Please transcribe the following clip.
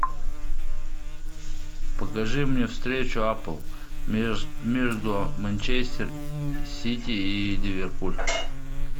покажи мне встречу апл между манчестер сити и ливерпуль